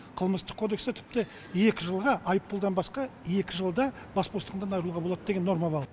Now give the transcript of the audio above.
қылмыстық кодексте тіпті екі жылға айыппұлдан басқа екі жылда бас бостандығынан айыруға болады деген норма бар